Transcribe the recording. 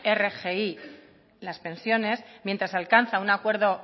rgi las pensiones mientras se alcanza un acuerdo